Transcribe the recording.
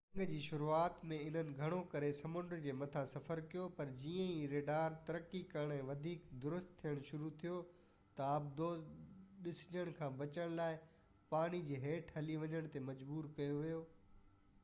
جنگ جي شروعات ۾ انهن گھڻو ڪري سمنڊ جي مٿان سفر ڪيو پر جيئن ئي ريڊار ترقي ڪرڻ ۽ وڌيڪ درست ٿين شروع ٿيو ته آبدوز ڏسجڻ کان بچڻ لاءِ پاڻيءَ جي ھيٺ لھي وڃڻ تي مجبور ڪيو ويو